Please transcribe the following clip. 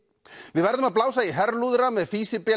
við verðum að blása í herlúðra með